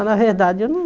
Na verdade eu não...